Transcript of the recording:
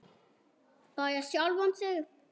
Bara sjálfan sig.